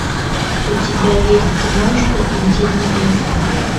у тебя есть киношка интимные места